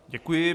Děkuji.